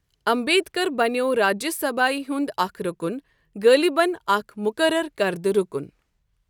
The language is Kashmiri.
امبیدکَر بنیووراجیہِ سبھایہ ہُند اکھ رُکُن ، غٲلباً اکھ مقرر کردہ رُکُن ۔